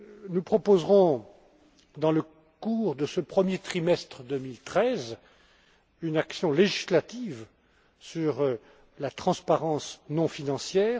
Nous proposerons, dans le courant de ce premier trimestre 2013, une action législative sur la transparence non financière.